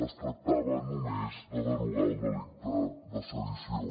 es tractava només de derogar el delicte de sedició